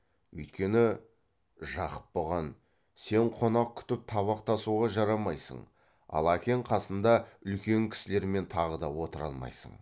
үйткені жақып бұған сен қонақ күтіп табақ тасуға жарамайсың ал әкең қасында үлкен кісілермен тағы да отыра алмайсың